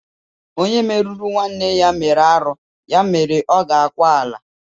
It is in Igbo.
Onye meruru nwanne ya mere arụ ya mere ọ ga-akwa ala.